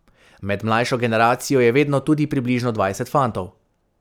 Med mlajšo generacijo je vedno tudi približno dvajset fantov.